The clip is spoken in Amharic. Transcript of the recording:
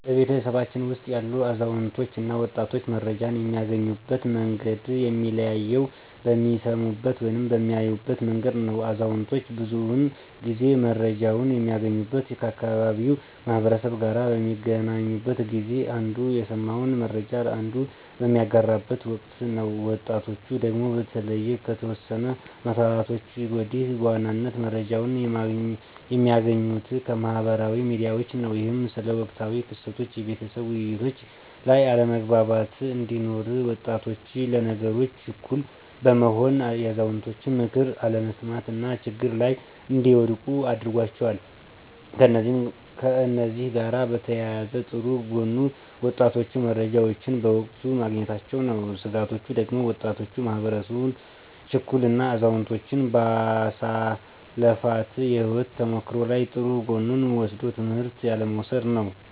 በቤተሰባችን ውስጥ ያሉ አዛውንቶች እና ወጣቶች መረጃን የሚያገኙበት መንገድ የሚለያየው በሚሰሙበት ወይም በሚያዩበት መንገድ ነው። አዛውንቶች ብዙውን ጊዜ መረጃወችን የሚያገኙት ከአካባቢው ማህበረሰብ ጋር በሚገናኙበት ጊዜ አንዱ የሰማውን መረጃ ለአንዱ በሚያጋራበት ወቅት ነው። ወጣቶቹ ደግሞ በተለይ ከተወሰኑ አመታቶች ወዲህ በዋናነት መረጃዎችን የሚያገኙት ከማህበራዊ ሚዲያዎች ነው። ይህም ስለ ወቅታዊ ክስተቶች የቤተሰብ ውይይቶች ላይ አለመግባባት እንዲኖር፤ ወጣቶች ለነገሮች ችኩል በመሆን የአዛውንቶችን ምክር አለመስማት እና ችግሮች ላይ እንዲወድቁ አድርጓቸዋል። ከእነዚህ ጋር በተያያዘ ጥሩ ጎኑ ወጣቶቹ መረጃዎችን በወቅቱ ማግኘታቸው ነው። ስጋቶቹ ደግሞ ወጣቱ ማህበረሰብ ችኩል እና አዛውንቶች ባሳለፋት የህይወት ተሞክሮ ላይ ጥሩ ጎኑን ወስዶ ትምህርት ያለ መውሰድ ነው።